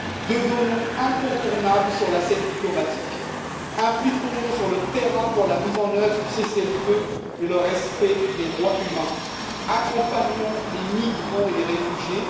Devenons incontournables sur la scène diplomatique, impliquons nous sur le terrain pour la mise en œuvre du cessez le feu et le respect des droits humains, accompagnons les migrants et les réfugiés.